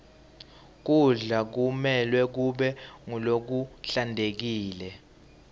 kudla kumelwe kube ngulokuhlantekile